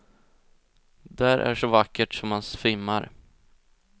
Där är så vackert så man svimmar.